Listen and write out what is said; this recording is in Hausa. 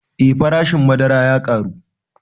Eh farashin madara ya ƙaru